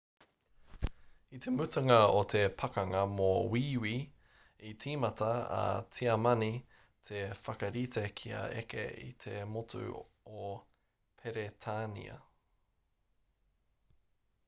i te mutunga o te pakanga mō wīwī i tīmata a tiamani te whakarite kia eke i te motu o peretānia